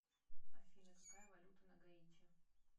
афина какая валюта на гаити